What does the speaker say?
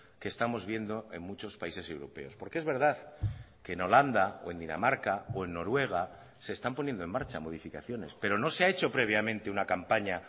que estamos viendo en muchos países europeos porque es verdad que en holanda o en dinamarca o en noruega se están poniendo en marcha modificaciones pero no se ha hecho previamente una campaña